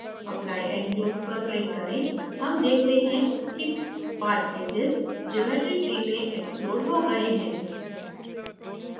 apply and close पर click करें हम देखते हैं कि पाँच faces geometry tree में exploded हो गए हैं